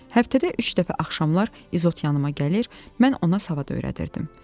Həftədə üç dəfə axşamlar İzot yanıma gəlir, mən ona savad öyrədirdim.